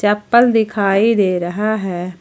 चप्पल दिखाई दे रहा है।